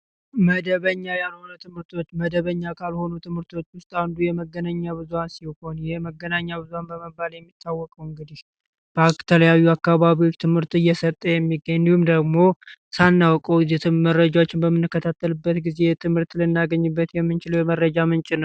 መደበኛ ያልሆኑ ትምህርቶች፦ መደበኛ ካልሆኑ ትምህርቶች ውስጥ አንዱ የመገናኛ ብዙሀን ነው። የመገናኛ ብዙሃን በመባል የሚታወቀው እንግዲህ በአብዛኛው አካባቢዎች ትምህርት እየሰጠ የሚገኝ እንዲሁም ደግሞ ሳናውቀው የትም መረጃዎችን በምንከታተልበት ጊዜ ትምህርት ልናገኝበት የምንችለው የመረጃ ምንጭ ነው።